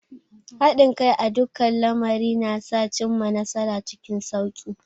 Haɗin kai a dukkan lamari na sa a cimma nasara cikin sauki.